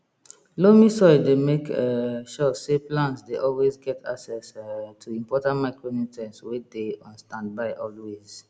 loamy soil dey make um sure say plants dey always get access um to important micronutrients wey dey on standby always